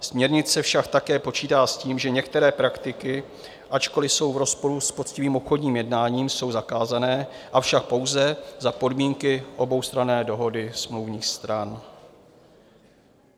Směrnice však také počítá s tím, že některé praktiky, ačkoliv jsou v rozporu s poctivým obchodním jednáním, jsou zakázané, avšak pouze za podmínky oboustranné dohody smluvních stran.